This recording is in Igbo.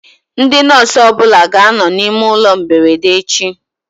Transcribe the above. Ndị nọsụ ọbụla ga anọ na ime ụlọ mberede echi